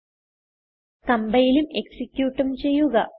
നേരത്തേതു പോലെ കംപൈലും എക്സിക്യൂട്ടും ചെയ്യുക